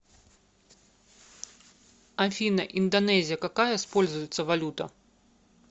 афина индонезия какая используется валюта